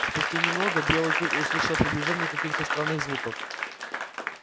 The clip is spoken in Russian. спустя немного белый клык услышал приближение каких-то странных звуков